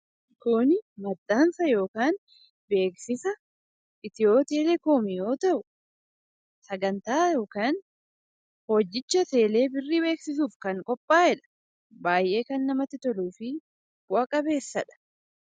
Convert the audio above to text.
Kun maxxansa yookiin beeksisa Itiyoo-telekoom yoo ta'u, sagantaa yookaan hojicha teelee birrii beeksisuuf kan qophaa'edha. Baay'ee kan namatti toluu fi bu'aa qabeessadha.